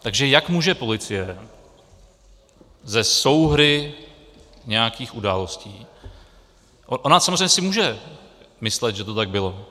Takže jak může policie ze souhry nějakých událostí - ona samozřejmě si může myslet, že to tak bylo.